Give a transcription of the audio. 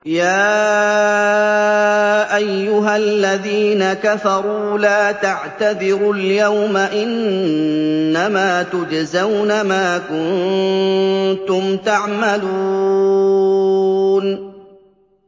يَا أَيُّهَا الَّذِينَ كَفَرُوا لَا تَعْتَذِرُوا الْيَوْمَ ۖ إِنَّمَا تُجْزَوْنَ مَا كُنتُمْ تَعْمَلُونَ